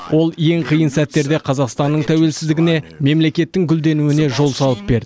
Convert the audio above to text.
ол ең қиын сәттерде қазақстанның тәуелсіздігіне мемлекеттің гүлденуіне жол салып берді